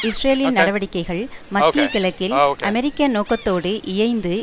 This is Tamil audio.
இஸ்ரேலின் நடவடிக்கைகள் மத்தியகிழக்கில் அமெரிக்க நோக்கத்தோடு இயைந்து